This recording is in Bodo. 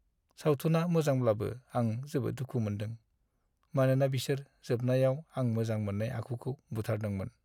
सावथुना मोजांब्लाबो आं जोबोद दुखु मोन्दों, मानोना बिसोर जोबनायाव आं मोजां मोननाय आखुखौ बुथारदोंमोन।